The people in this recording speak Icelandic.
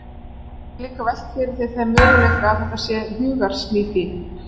Þú getur líka velt fyrir þér þeim möguleika að þetta sé hugarsmíð þín.